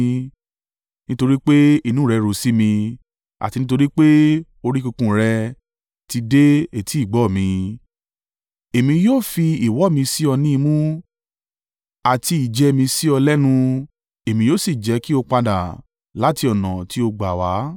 Nítorí pé inú rẹ ru sí mi àti nítorí pé orí kunkun rẹ ti dé etí ìgbọ́ mi, Èmi yóò fi ìwọ̀ mi sí ọ ní imú, àti ìjẹ mi sí ọ lẹ́nu, èmi yóò sì jẹ́ kí o padà láti ọ̀nà tí o gbà wá.